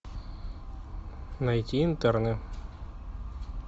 найти интерны